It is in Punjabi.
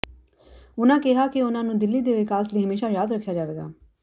ਉਨ੍ਹਾਂ ਕਿਹਾ ਕਿ ਉਨ੍ਹਾਂ ਨੂੰ ਦਿੱਲੀ ਦੇ ਵਿਕਾਸ ਲਈ ਹਮੇਸ਼ਾ ਯਾਦ ਰੱਖਿਆ ਜਾਵੇਗਾ